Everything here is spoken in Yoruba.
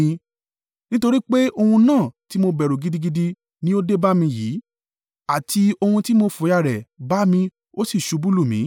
Nítorí pé ohun náà tí mo bẹ̀rù gidigidi ni ó dé bá mi yìí, àti ohun tí mo fòyà rẹ̀ bá mi ó sì ṣubú lù mí.